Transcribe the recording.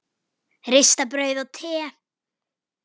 Ristað brauð og te.